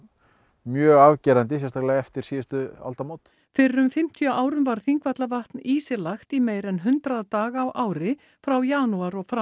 mjög afgerandi sérstaklega eftir síðustu aldamót fyrir um fimmtíu árum var Þingvallavatn ísilagt í meira en hundrað daga á ári frá janúar og fram